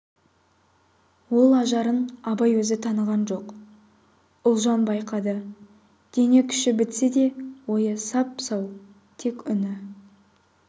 ол ажарын абай өзі таныған жоқ ұлжан байқады дене күші бітсе де ойы сап-сау тек үні